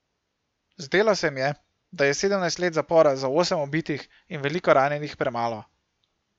Zdelo se jim je, da je sedemnajst let zapora za osem ubitih in veliko ranjenih premalo.